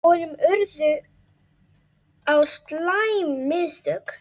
Honum urðu á slæm mistök.